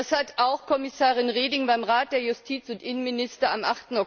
Das hat auch Kommissarin Reding beim Rat der Justiz und Innenminister am